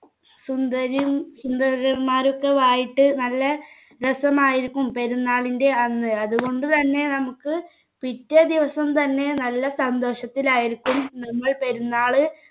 സുന്ദരിയും സുന്ദരന്മാരും ഒക്കെ ആയിട്ട് നല്ല രസമായിരുക്കും പെരുന്നാളിന്റെ അന്ന് അതുകൊണ്ടുതന്നെ നമുക്ക് പിറ്റേദിവസം തന്നെ നല്ല സന്തോഷത്തിൽ ആയിരിക്കും നമ്മൾ പെരുന്നാൾ